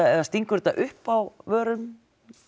eða stingur þetta upp á vörum